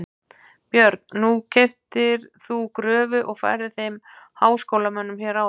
Björn: Nú keyptir þú gröfu og færðir þeim háskólamönnum hér áðan?